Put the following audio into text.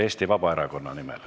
Eesti Vabaerakonna nimel.